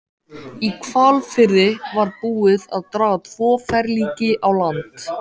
Í Hvalfirði var búið að draga tvö ferlíki á land.